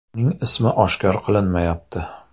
Uning ismi oshkor qilinmayapti.